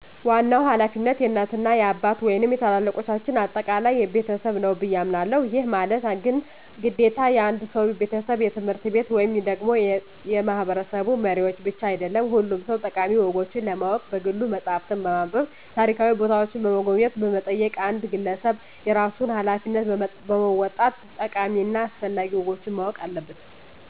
ዋናው ሀላፊነት የእናት እና የአባት ወይንም የታላላልቆቻችን አጠቃላይ የቤተሰብ ነው ብየ አሞናለሁ። ይህ ማለት ግን ግዴታ የአንድ ሰው፣ የቤተሰብ፣ የትምህርት ቤት ወይም ደግሞ የማህበረሰቡ መሪዎች ብቻ አይደለም ሁሉም ሰው ጠቃሚ ወጎችን ለማወቅ በግሉ መፅሃፍትን በማንብ፣ ታሪካዊ ቦታዎችን በመጎብኘት በመጠየቅ አንድ ግለሰብ የራሱን ሀላፊነት በመወጣት ጠቃሚ እና አስፈላጊ ወጎችን ማወቅ አለበት።